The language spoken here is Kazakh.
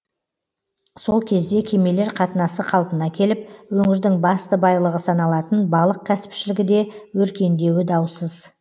сол кезде кемелер қатынасы қалпына келіп өңірдің басты байлығы саналатын балық кәсіпшілігі де өркендеуі даусыз